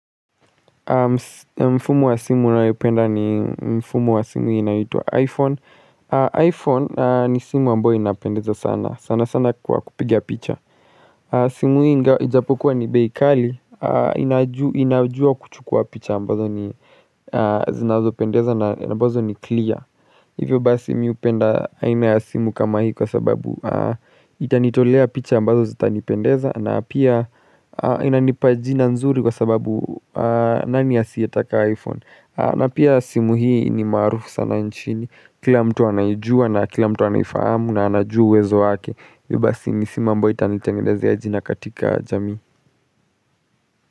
Mfumo wa simu nayopenda ni mfumo wa simu inayoitwa iPhone iPhone ni simu ambayo inapendeza sana, sana sana kwa kupiga picha simu ijapokuwa ni bei kali, inajua kuchukua picha ambazo ni zinazopendeza na ambazo ni clear Hivyo basi mi hupenda aina ya simu kama hii kwa sababu itanitolea picha ambazo zitanipendeza na pia inanipa jina nzuri kwa sababu nani asiyetaka iPhone. Na pia simu hii ni maarufu sana nchini. Kila mtu anaijua na kila mtu anaifahamu na anajua uwezo wake. Hivyo basi ni simu ambayo itanitengenezea jina katika jamii.